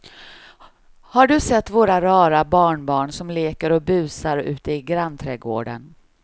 Har du sett våra rara barnbarn som leker och busar ute i grannträdgården!